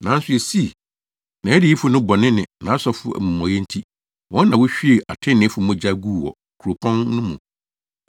Nanso esii, nʼadiyifo no bɔne ne nʼasɔfo amumɔyɛ nti, wɔn na wohwiee atreneefo mogya guu wɔ kuropɔn no mu.